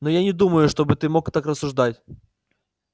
но я не думаю чтобы ты мог так рассуждать